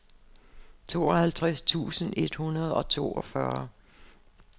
tooghalvtreds tusind et hundrede og toogfyrre